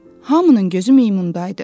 Hamının gözü meymunda idi.